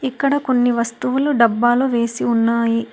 ఇక్కడ కొన్ని వస్తువులు డబ్బాలో వేసి ఉన్నాయి.